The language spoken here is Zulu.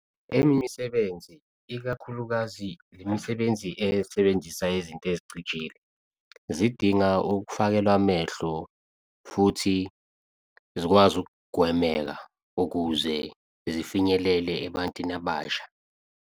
Eminye imsebenzi ikakhulukazi imisebenzi esebenzisa izinto ezicijile zidinga ukufakelwa amehlo, futhi zikwazi ukugwemeka, ukuze zifinyelele ebantwini abasha.